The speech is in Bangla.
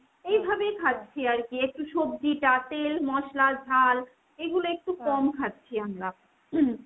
খাচ্ছি আর কি। একটু সব্জিটা, তেল, মশলা, ঝাল এগুলো একটু ,খাচ্ছি আমরা। .